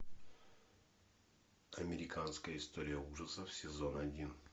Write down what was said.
американская история ужасов сезон один